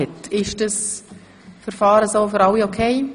– Das ist der Fall.